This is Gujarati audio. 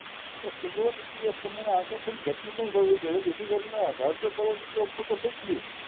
તો silverECS પ્રમાણે આકર્ષણ પણ થયું છે જેથી કરીને હજાર હજાર કરોડ રૂપિયા ઉપર તો થઈ ગયું.